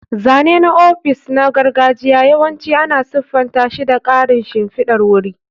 Zane na ofis na gargajiya yawanci ana siffanta shi da ƙarin shimfidar wuri.